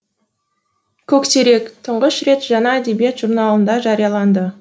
көксерек тұңғыш рет жаңа әдебиет журналында жарияланды